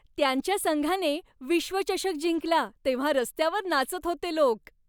त्यांच्या संघाने विश्वचषक जिंकला तेव्हा रस्त्यावर नाचत होते लोक.